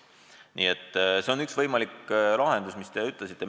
Nii et see on üks võimalik lahendus, mis te ütlesite.